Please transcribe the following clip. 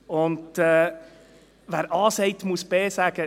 Und «Wer A sagt, muss auch B sagen.»